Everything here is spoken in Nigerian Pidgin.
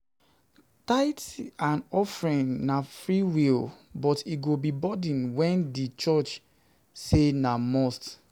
Tithes and offering na freewill but e go be burden when di church say na must